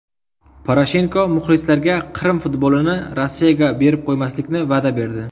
Poroshenko muxlislarga Qrim futbolini Rossiyaga berib qo‘ymaslikni va’da berdi.